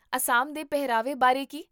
ਅਸਾਮ ਦੇ ਪਹਿਰਾਵੇ ਬਾਰੇ ਕੀ?